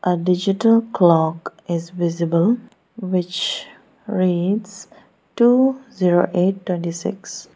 a digital clock is visible which reads two zero eight twenty six.